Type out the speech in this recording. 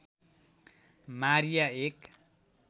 Maria एक